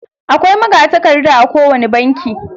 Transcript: Akwai magatakarda a kowani banki.